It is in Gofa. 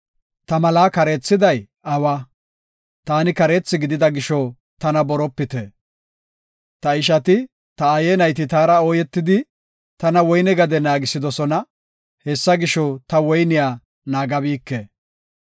Ta malaa kareethiday awa; taani kareethi gidida gisho tana boropite. Ta ishati, ta aaye nayti taara ooyetidi, tana woyne gade naagisidosona; hessa gisho ta woyniya naagabike.